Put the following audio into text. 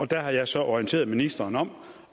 der har jeg så orienteret ministeren om